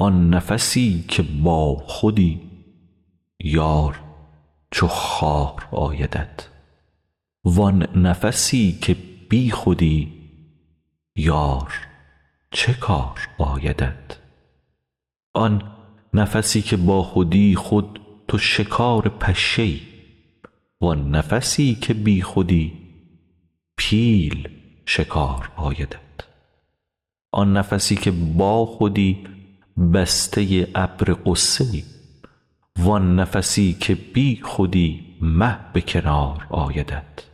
آن نفسی که باخودی یار چو خار آیدت وان نفسی که بیخودی یار چه کار آیدت آن نفسی که باخودی خود تو شکار پشه ای وان نفسی که بیخودی پیل شکار آیدت آن نفسی که باخودی بسته ابر غصه ای وان نفسی که بیخودی مه به کنار آیدت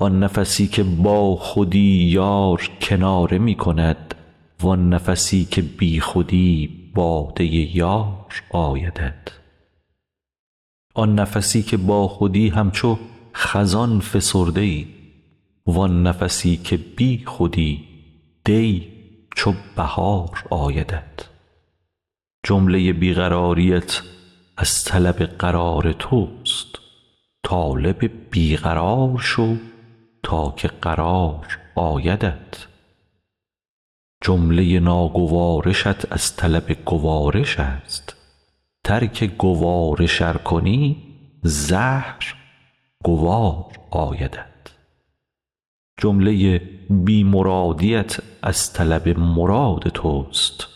آن نفسی که باخودی یار کناره می کند وان نفسی که بیخودی باده یار آیدت آن نفسی که باخودی همچو خزان فسرده ای وان نفسی که بیخودی دی چو بهار آیدت جمله بی قراریت از طلب قرار توست طالب بی قرار شو تا که قرار آیدت جمله ناگوارشت از طلب گوارش است ترک گوارش ار کنی زهر گوار آیدت جمله بی مرادیت از طلب مراد توست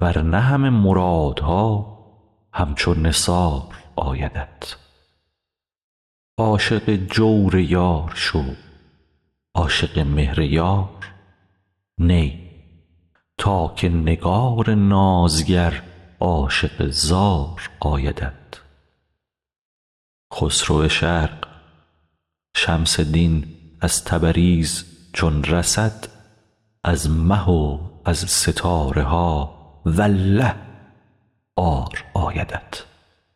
ور نه همه مرادها همچو نثار آیدت عاشق جور یار شو عاشق مهر یار نی تا که نگار نازگر عاشق زار آیدت خسرو شرق شمس دین از تبریز چون رسد از مه و از ستاره ها والله عار آیدت